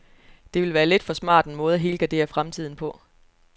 Det ville være lidt for smart en måde at helgardere fremtiden på.